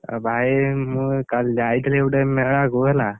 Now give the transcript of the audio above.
ଆଉ ଭାଇ ମୁଁ କାଲି ଯାଇଥିଲି ଗୋଟେ ମେଳାକୁ ହେଲା?